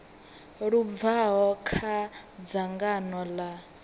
lu bvaho kha dzangano ḽa